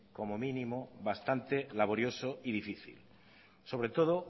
como mínimo bastante laborioso y difícil sobre todo